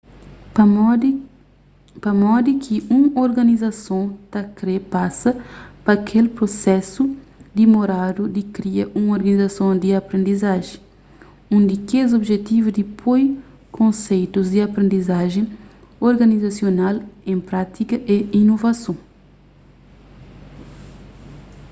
pamodi ki un organizason ta kre pasa pa kel prusesu dimoradu di kria un organizason di aprendizajen un di kes objetivu di poi konseitus di aprendizajen organizasional en prátika é inovason